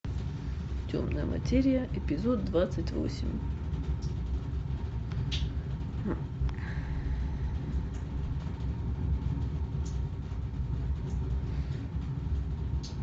темная материя эпизод двадцать восемь